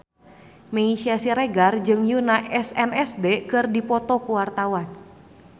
Meisya Siregar jeung Yoona SNSD keur dipoto ku wartawan